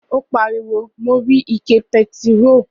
O pariwo, "Mo rí ike pẹtiró".